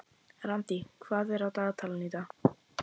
Randý, hvað er á dagatalinu í dag?